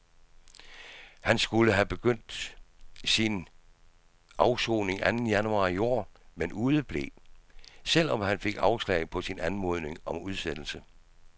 Han skulle have begyndt sin afsoning anden januar i år, men udeblev, selv om han fik afslag på sin anmodning om udsættelse.